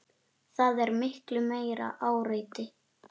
Það er miklu meira áreiti.